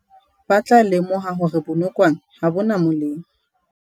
Ba tla lemoha hore bonokwane ha bo na molemo.